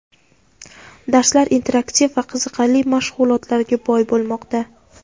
Darslar interaktiv va qiziqarli mashg‘ulotlarga boy bo‘lmoqda.